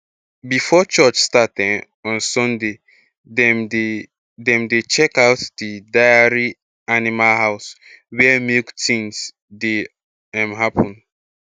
before church start um on sunday dem dey dem dey check out d dairy animal house where milk tins dey um happen